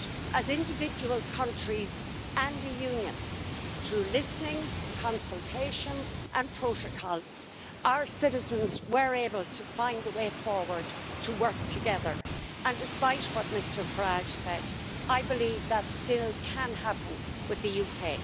As individual countries and a Union, through listening, consultation and protocols, our citizens were able to find a way forward, to work together and, despite what Mr Farage said, I believe that can still happen with the UK.